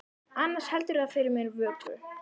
Annars heldur það fyrir mér vöku.